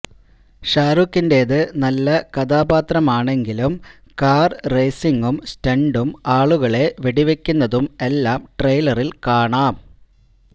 ഷാരൂഖിന്റേത് നല്ല കഥാപാത്രമാണെങ്കിലും കാര് രേസിംഗും സ്റ്റണ്ടും ആളുകളെ വെടിവയ്ക്കുന്നതും എല്ലാം ട്രെയിലറില് കാണാം